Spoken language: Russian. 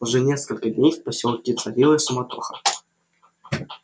уже несколько дней в посёлке царила суматоха